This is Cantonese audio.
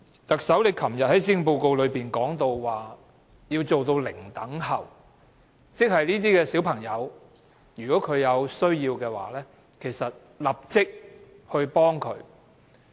特首昨天在施政報告提及要做到"零輪候"，即是這些小朋友如果有需要，會立即幫他們。